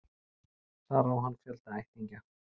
Þar á hann fjölda ættingja